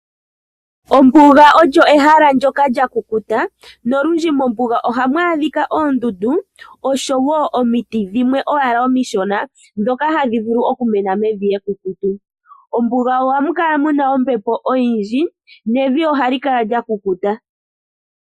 Ombuga olyo ehala ndyoka lya kukuta, nolwindji ohamu adhika oondundu oshowo omiti dhimwe omishona, ndhoka hadhi vulu okumena mevi ekukutu. Mombuga ohamu kala mu na ombepo oyindji, nevi ohali kala lya kukuta.